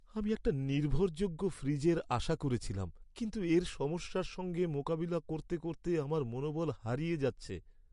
আমি একটা নির্ভরযোগ্য ফ্রিজের আশা করেছিলাম, কিন্তু এর সমস্যার সঙ্গে মোকাবিলা করতে করতে আমার মনোবল হারিয়ে যাচ্ছে।